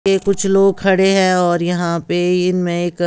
कुछ लोग खड़े हैं और यहाँ पे इनमें एक--